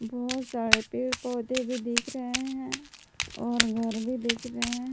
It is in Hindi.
बहोत सारे पेड़ पौधे भी दिख रहे है और घर भी दिख रहे हैं।